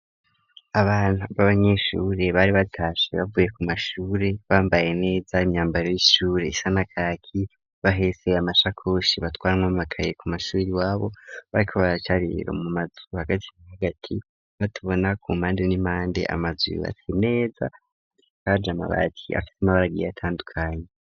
Abantu b'abanyeshure bari batashe bavuye ku mashure bambaye neza imyambaro y'ishure isanakaki bahetse amashakoshi batwaramwo bakaye ku mashubiri wabo bari ko baracarero mu mazu hagati hagati batubona ku mpande n'impande amazuyu bati neza kajama bati afite amabara agiye atandukanye.